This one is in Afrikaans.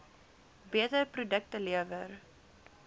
beter produkte lewer